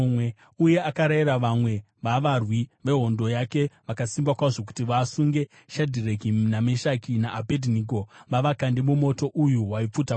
Uye akarayira vamwe vavarwi vehondo yake vakasimba kwazvo kuti vasunge Shadhireki naMeshaki naAbhedhinego vavakande mumoto uyu waipfuta kwazvo.